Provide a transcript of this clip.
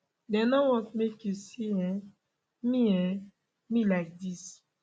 dey no want make you see um me um me like dis